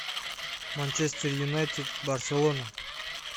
манчестер юнайтед барселона